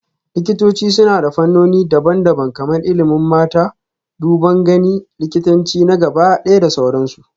Likitoci suna da fannoni daban-daban kamar ilimin mata, duban gani, likitanci na gabaɗaya da sauransu